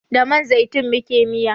Da man zaitun muke miya